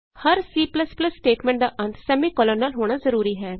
ਹਰ C statement ਦਾ ਅੰਤ semicolon ਨਾਲ ਹੋਣਾ ਜਰੂਰੀ ਹੈ